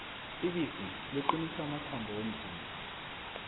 ibisi liqinisa amathambo womzimba